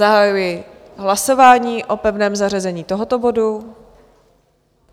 Zahajuji hlasování o pevném zařazení tohoto bodu.